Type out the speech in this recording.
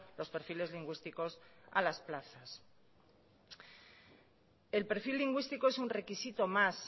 los perfiles lingüísticos a las plazas el perfil lingüístico es un requisito más